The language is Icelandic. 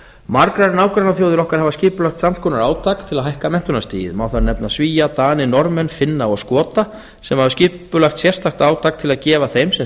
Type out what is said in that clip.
margar nágrannaþjóðir okkar hafa skipulagt sams konar átak til að hækka menntunarstigið má þar nefna svía dani norðmenn finna og skota sem hafa skipulagt sérstakt átak til að gefa þeim sem